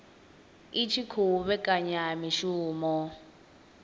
i tshi khou vhekanya mishumo